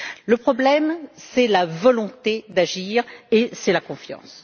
Le problème, c'est la volonté d'agir et la confiance.